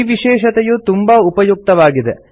ಈ ವಿಶೇಷತೆಯು ತುಂಬಾ ಉಪಯುಕ್ತವಾಗಿದೆ